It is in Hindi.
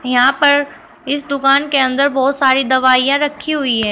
यहां पर इस दुकान के अंदर बहुत सारी दवाईयां रखी हुई है।